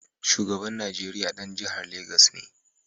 Shugaban Nigeriya ɗan jihar Legas ne